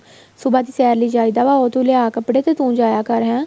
ਸੁਭਾ ਦੀ ਸੈਰ ਲਈ ਚਾਹੀਦਾ ਵੇ ਉਹ ਤੂੰ ਲਿਆ ਕੱਪੜੇ ਤੂੰ ਜਾਇਆ ਕਰ ਹੈ